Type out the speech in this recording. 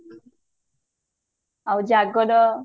ଆଉ ଜାଗର